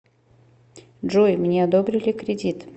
джой мне одобрили кредит